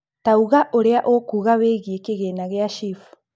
tauga urĩa ũkuugaga wĩgiĩ kĩgĩna kĩa SHIF